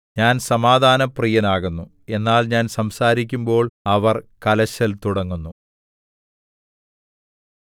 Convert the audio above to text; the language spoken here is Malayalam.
ഞാൻ സമാധാനപ്രിയനാകുന്നു എന്നാൽ ഞാൻ സംസാരിക്കുമ്പോൾ അവർ കലശൽ തുടങ്ങുന്നു